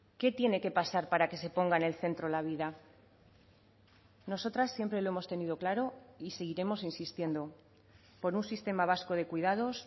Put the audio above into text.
qué tiene que pasar para que se ponga en el centro la vida nosotras siempre lo hemos tenido claro y seguiremos insistiendo por un sistema vasco de cuidados